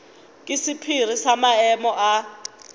ke sephiri sa maemo a